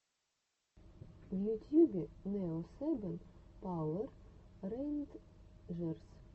в ютьюбе нео сэбэн пауэр рэйнджерс